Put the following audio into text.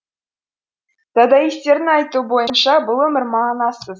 дадаистердің айтуы бойынша бұл өмір мағынасыз